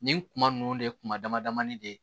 Nin kuma nunnu de ye kuma dama damani de